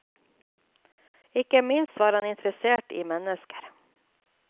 Ikke minst var han interessert i mennesker.